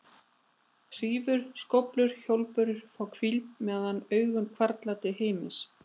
Hrífur, skóflur og hjólbörur fá hvíld meðan augun hvarfla til himins.